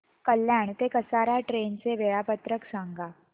कल्याण ते कसारा ट्रेन चे वेळापत्रक सांगा